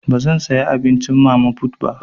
Bazan saya abincin mama put ba.